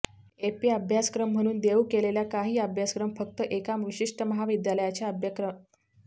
AP अभ्यासक्रम म्हणून देऊ केलेल्या काही अभ्यासक्रम फक्त एका विशिष्ट महाविद्यालयाच्या अभ्यासक्रमात दिसत नाहीत